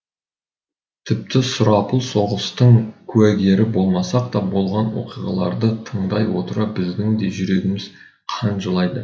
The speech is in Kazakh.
тіпті сұрапыл соғыстың куәгері болмасақ та болған оқиғаларды тыңдай отыра біздің де жүрегіміз қан жылайды